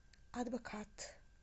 адвокат